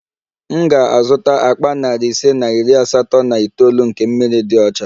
M ga-azụta akpa nari ise na iri asatọ na itoolu nke mmiri dị ọcha